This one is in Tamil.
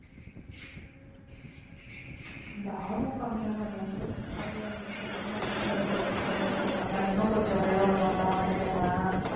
இந்த ஆர்வம் காமிக்காம இல்ல sports ல ஆர்வம் வந்துருச்சு அப்படினா பிள்ளைங்க வந்து விளையாட விளையாட நல்லா இன்னும் கொஞ்சம் மேல வரணும்னு தான் நினைக்குங்க.